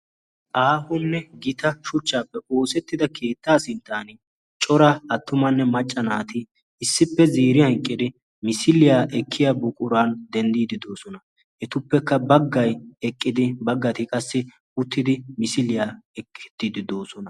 aahonne gita shuchchaappe oosettida keettaa sinttan cora attumanne macca naati issippe ziiriya eqqidi misiliyaa ekkiya buquran denddiididoosona etuppekka baggai eqqidi baggati qassi uttidi misiliyaa eqqi uttiidi doosona